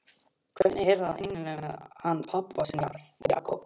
Hvernig er það eiginlega með hann pabba þinn, Jakob?